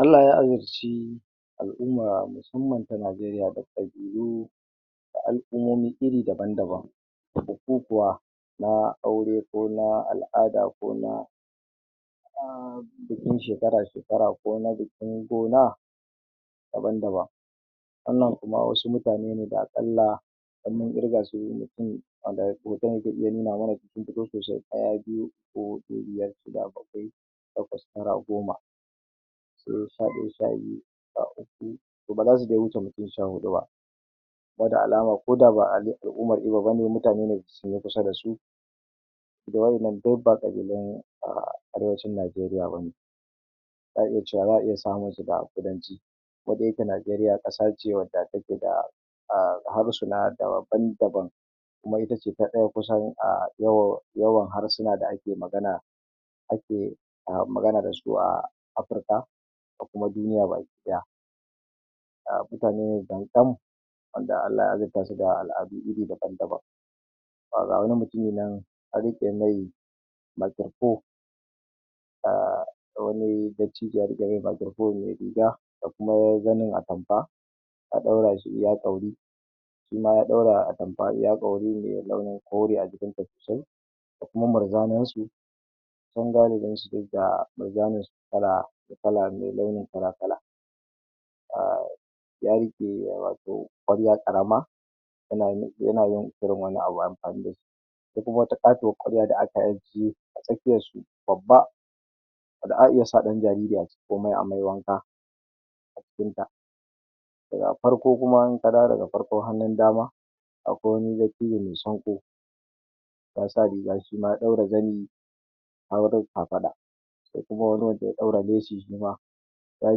Allah ya azirci al'umma musamman ta najeriya da ƙabilu da al'umumi iri daban daban da bukukuwa na aure ko na al'ada ko na hutun shekara shekara ko na bikin gona waɗan da ba wannan wasu mutane ne da aƙalla in mun irgasu mutun zai iya nuna mana sun fito sosai ɗaya, biyu, uku.huɗu, biyar, shida, baƙwai taƙwas tara goma sai sha ɗaya sha biyu sha uku to baza su wuce mutum sha huɗu ba wa innan duk ba ƙabilun arewacin najeriya bane za a iya cewa za a iya samunsa a ƙudanci ko da yake najeriya ƙasace wanda take da da harsuna daban daban kuma ita ce ta ɗaya kusan a yawan harsuna da ake magana ake magana dasu a africa da kuma duniya baki ɗaya wanda Allah ya azirtashi da aladu iri daban daban anrike mai makiro phone a wani dattijowa da ta riƙe makiro phone me riga da kuam zamin atamfa ta ɗaurashi ya ɗauru shima ya ɗaura atamfa iya ƙauri me ɗan kauri a jikinsa sosai da kuma murzanansu dan galibinsu ga murjaninsu kala da kala me launin kala kala ya riƙe wato ƙwarya karama ko kuma wata ƙatuwar ƙwarya da ake ajje a tsakiyarsu babba wanda a iya sa ɗan jariri a cikin ko ma amai wanka a cinta daga farko kuma inka dawo daga farkon hannun damanka akwai wani dattijo me sanku yasa riga shima ya ɗaura zani a wurin kafaɗa sai kuma wani wanda ya ɗaura leshi shima ya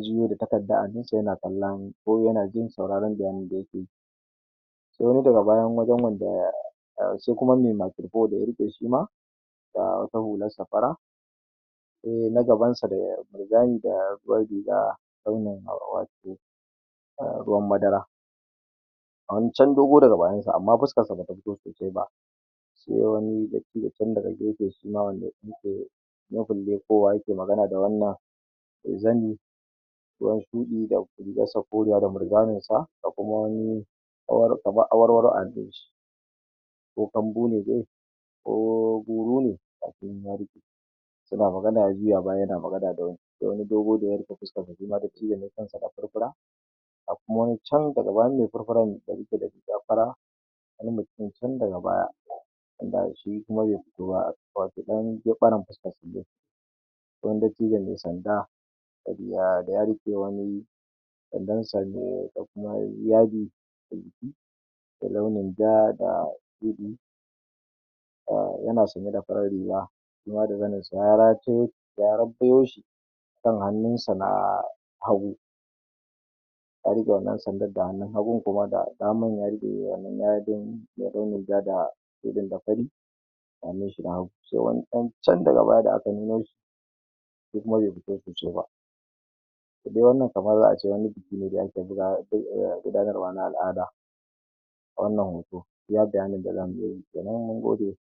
juyo da takaddar a hannunsa yana kalla ko yana jin sauraran bayanin da yakeyi sai wani daga bayan wajan nan da sai kuma me makiro phone da ya riƙe shima da wata hularsa fara sai na gabansa da mirjani da jar riga launin wato a ruwan madara ga wani can dogo daga bayansa amma fuskan bata fito sosai ba sai wani dattijo can daga gefe shima rabin leƙuwa yake magana da wannan da zani shuɗi rigarsa koriya da mirjaninsa ga kuma wani kamar awarwaro a hannunshi ko kambune dai ko gurune suna magana ya juya baya yana magana da wani da wani dogo daya riƙe fuskanshi shima dattijo ne kansa da furfura ga wani can daga gaban me furfurar da yake da riga fara ga wani mutun can daga baya wanda shi kuma be fito ba wato dan gefaran shine sai wani dattijo me sanda da ya riƙe wani sandansa da kuma wani yadi a jiki da launin ja da shuɗ ai yana sanye da farar riga shima da zaninshi ya rattayo shi akan hannunsa na hagu ya rike wannan sandan da hannun hagun shi kuma ga hannun ya riƙe wannan yadin me launin ja da shuɗi da fari a hannunshi na hagu sai wani can daga baya da ake nunoshi be fito sosai ba to duk wannan kamar za a ce wani biki ne da ake gudanarwa na al'ada a wannan hoto iya bayanin da zan iyayi kenan nagode